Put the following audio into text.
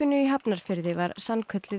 í Hafnarfirði var sannkölluð